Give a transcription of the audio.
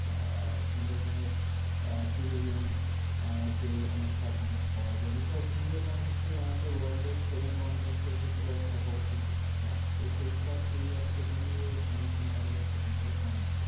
আহ সুন্দরবন এর আহ tourism আহ কে অনেকটা Promote করা যাবে। Because সুন্দরবন হচ্ছ্যে আমাদের world এর seven wonders এর ভেতরে একটা বর~ মধ~ একটা। তো সেইটা সেই অর্থে দাড়িয়ে promotion টা বোধহয় সেইরকম ভাবে হয় না